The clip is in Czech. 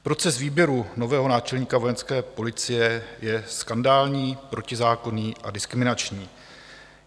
Proces výběru nového náčelníka Vojenské policie je skandální, protizákonný a diskriminační.